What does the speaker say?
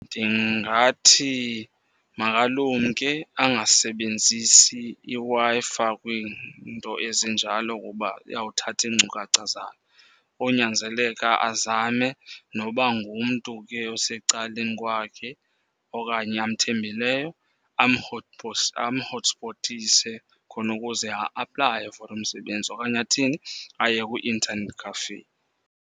Ndingathi makalumke angasebenzisi iWi-Fi kwiinto ezinjalo kuba iyawuthatha iinkcukacha zakhe. Konyanzeleka azame noba ngumntu ke osecaleni kwakhe okanye amthembileyo amhothispotise khona ukuze a-aplaye for umsebenzi. Okanye athini? Aye kwi-internet cafe.